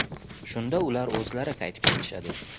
Shunda ular o‘zlari qaytib kelishadi.